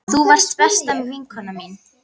Þú varst besta vinkona mín.